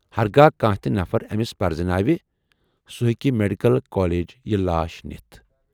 ہَرگاہ کانہہ تہِ نفر ٲمِس پرزناوِ، سُہ ہیکہِ میڈیکل کالیج یہِ لاش نِتھ۔